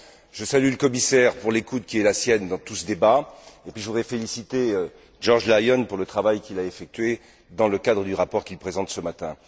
Je salue le commissaire pour l'écoute qui est la sienne dans tout ce débat, et je voudrais féliciter George Lyon pour le travail qu'il a effectué dans le cadre du rapport qu'il présente ce matin.